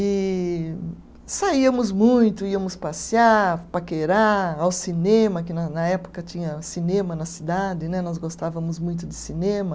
E saíamos muito, íamos passear, paquerar, ao cinema, que na na época tinha cinema na cidade né, nós gostávamos muito de cinema.